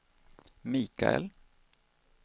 Mikael